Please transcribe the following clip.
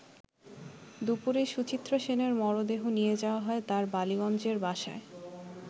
দুপুরে সুচিত্রা সেনের মরদেহ নিয়ে যাওয়া হয় তার বালিগঞ্জের বাসায়।